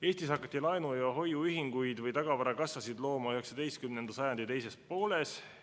Eestis hakati laenu- ja hoiuühinguid või tagavarakassasid looma 19. sajandi teisel poolel.